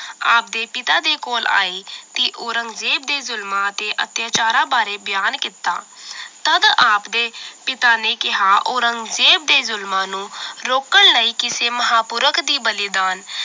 ਆਪ ਦੇ ਪਿਤਾ ਦੇ ਕੋਲ ਆਏ ਤੇ ਔਰੰਜਜ਼ੇਬ ਦੇ ਜ਼ੁਲਮਾਂ ਅਤੇ ਅਤਿਆਚਾਰਾਂ ਬਾਰੇ ਬਿਆਨ ਕੀਤਾ ਤਦ ਆਪਦੇ ਪਿਤਾ ਨੇ ਕਿਹਾ ਔਰੰਗਜ਼ੇਬ ਦੇ ਜ਼ੁਲਮਾਂ ਨੂੰ ਰੋਕਣ ਲਈ ਕਿਸੇ ਮਹਾਪੁਰਖ ਦੀ ਬਲੀਦਾਨ